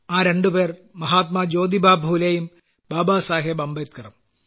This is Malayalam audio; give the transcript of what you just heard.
ആ രണ്ടുപേർ മഹാത്മാ ജ്യോതിബാഫുലേയും ബാബാ സാഹബ് അംബേദ്ക്കറും